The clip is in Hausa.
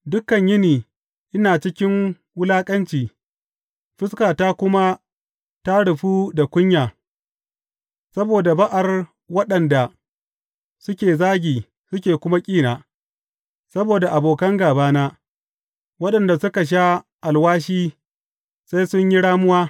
Dukan yini ina cikin wulaƙanci, fuskata kuma ta rufu da kunya saboda ba’ar waɗanda suke zagi suke kuma ƙina, saboda abokan gābana, waɗanda suka sha alwashi sai sun yi ramuwa.